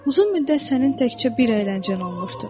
Uzun müddət sənin təkcə bir əyləncən olmuşdur.